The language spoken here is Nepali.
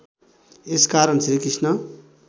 यस कारण श्रीकृष्ण